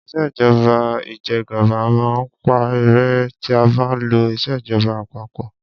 Ìṣèjọba ìjẹgàba máa ń parẹ́ tí a bá ń lo ìṣèjọba àpapọ.